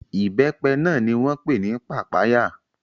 Ìbẹ́pẹ náà ni wọ́n pè ní papaya.